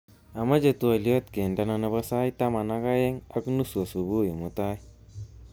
Amache twoliot kendena nebo sait taman ak ageng ak nusu asubui mutai